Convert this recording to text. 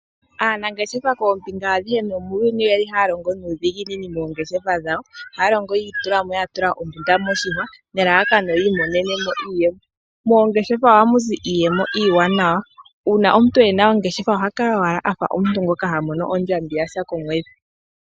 Aanangeshefa koombinga adhihe nomuuyuni oyeli ha ya longo nuudhiginini moongeshefa dhawo. Ha ya longo yi itulamo yatula ombunda moshihwa nelalakano yi imoneneno iiyemo. Moongeshefa ohamuzi iiyemo iiwanawa uuna omuntu ena ongeshefa oha kala owala afa omuntu ngoka hamono ondjambi yasha komwedhi.